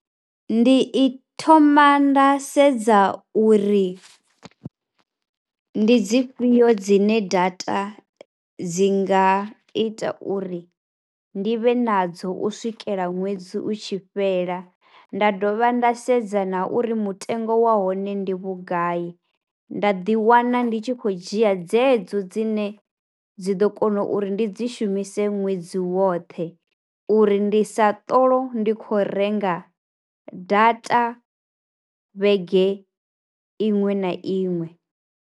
Ndi i u thoma nda sedza uri ndi dzifhio dzine data dzi nga ita uri ndi vhe nadzo u swikela ṅwedzi u tshi fhela. Nda dovha nda sedza na uri mutengo wa hone ndi vhugai, nda ḓiwana ndi tshi khou dzhia dzedzo dzine dzi ḓo kona uri ndi dzi shumise ṅwedzi woṱhe uri ndi sa ṱolou ndi khou renga data vhege iṅwe na iṅwe.